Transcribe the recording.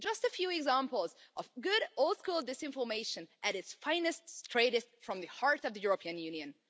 Just a few examples of good old school disinformation at its finest, straight from the heart of the European Union.